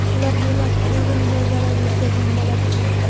ularga emas o‘zimga zarar yetkazgan bo‘lar edim.